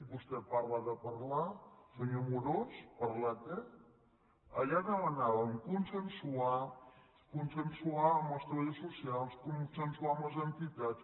vostè parla de parlar senyor amorós parlar què allà demanàvem consensuar consensuar amb els treballadors socials consensuar amb les entitats